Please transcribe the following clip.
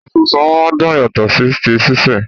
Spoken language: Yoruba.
Àgbàdo súnsun máa n dùn yàtọ̀ sí ti sise.